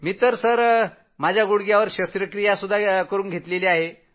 मी तर सर माझ्या गुडघ्यांवर शस्त्रक्रियाही करून घेतली आहे